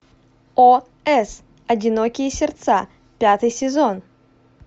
о с одинокие сердца пятый сезон